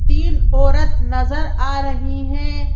तीन औरत नजर आ रही हैं।